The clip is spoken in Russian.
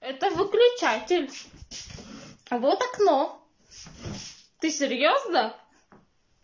это выключатель вот окно ты серьёзно